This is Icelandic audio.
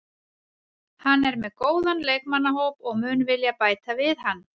Hann er með góðan leikmannahóp og mun vilja bæta við hann.